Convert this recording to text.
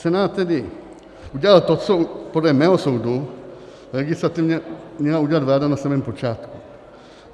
Senát tedy udělal to, co podle mého soudu legislativně měla udělat vláda na samém počátku.